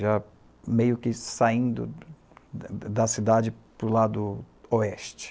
É meio que saindo da cidade para o lado oeste.